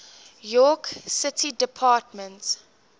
york city department